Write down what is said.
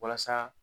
Walasa